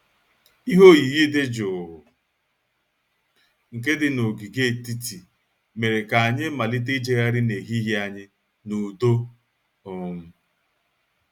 Ihe oyiyi dị jụụ nke dị n'ogige etiti mere ka anyị malite ịjegharị n'ehihie anyị n'udo um